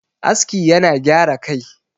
aski yana gyara Kai